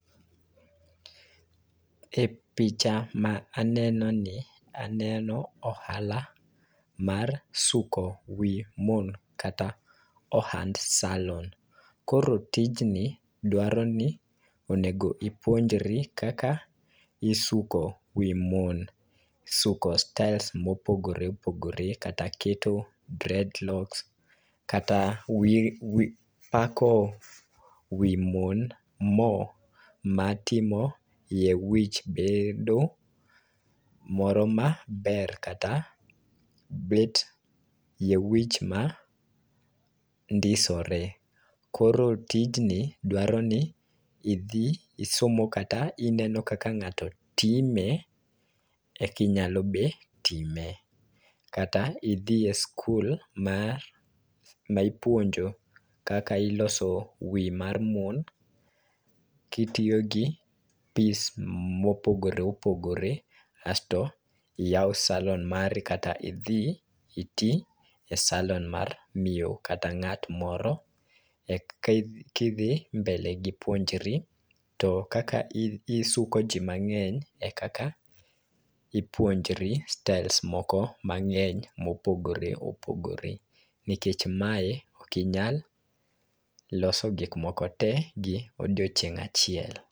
E picha ma aneno ni, aneno ohala mar suko wi mon, kata ohand salon. Koro tijni dwaro ni onego ipuonjri kaka isuko wii mon. Suko sytles mopogore opogore, kata keto dreadlocks, kata wiro, pako wi mon mo matimo yie wich bed moro ma ber kata bet yie wich ma ndisore. Koro tijni dwaro ni idhi isomo kata ineno kaka ng'ato time e ka inyalo be time. Kata idhi e skul mar ma ipuonjo kaka iloso wi mar mon, kitiyo gi pis mopogore opogre, asto iyaw salon mari, kata idhi iti e salon mar miyo kata ng'at moro. Kidhi mbele gi puonjri. To kaka isuko ji mang'eny e kaka ipuonjri styles moko mang'eny mopogore opogore. Niekch mae okinyal loso gik moko te gi odiochieng' achiel.